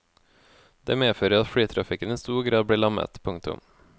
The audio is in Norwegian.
Det medfører at flytrafikken i stor grad blir lammet. punktum